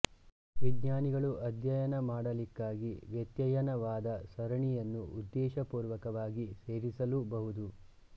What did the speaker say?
ವಿಜ್ಞಾನಿಗಳು ಅಧ್ಯಯನ ಮಾಡಲಿಕ್ಕಾಗಿ ವ್ಯತ್ಯಯನವಾದ ಸರಣಿಯನ್ನು ಉದ್ಧೇಶಪೂರ್ವಕವಾಗಿ ಸೇರಿಸಲೂ ಬಹುದು